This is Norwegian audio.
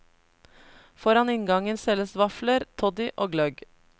Foran inngangen selges vafler, toddy og gløgg.